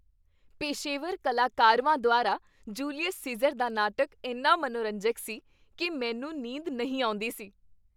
ਪੇਸ਼ੇਵਰ ਕਲਾਕਰਵਾਂ ਦੁਆਰਾ ਜੂਲੀਅਸ ਸੀਜ਼ਰ ਦਾ ਨਾਟਕ ਇੰਨਾ ਮਨੋਰੰਜਕ ਸੀ ਕੀ ਮੈਨੂੰ ਨੀਂਦ ਨਹੀਂ ਆਉਂਦੀ ਸੀ।